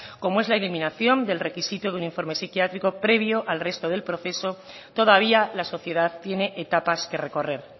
como es la eliminación del requisito de un informe psiquiátrico previo al resto del proceso todavía la sociedad tiene etapas que recorrer